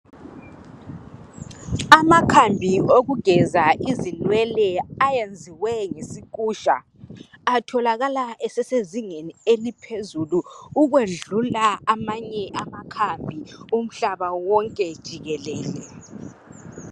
Amakhambi awokugeza izinwele ayenzwe ngesikusha atholakala esesezingeni eliphezulu ukwedlula amanye amakhambi umhlaba wonke jikelele.